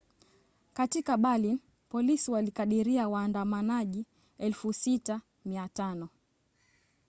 katika berlin polisi walikadiria waandamanaji 6,500